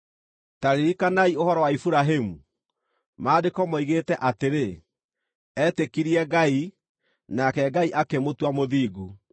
Ta ririkanai ũhoro wa Iburahĩmu, Maandĩko moigĩte atĩrĩ: “Etĩkirie Ngai, nake Ngai akĩmũtua mũthingu.”